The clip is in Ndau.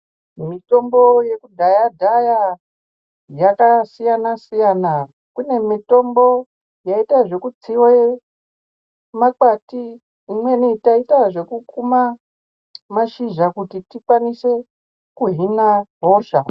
Mitombo yekudhaya dhaya yakasiyana siyana kune mitombo yaiita zvekutsiwa makwati imweni taiita zvekukuma mashizha kuti tikwanise kuhin'a hosha.